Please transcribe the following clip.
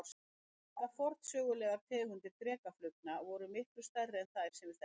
Margar forsögulegar tegundir drekaflugna voru miklu stærri en þær sem við þekkjum nú.